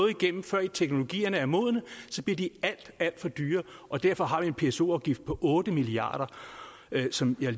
igennem før teknologierne er modne så bliver de alt alt for dyre og derfor har vi en pso afgift på otte milliard kr som jeg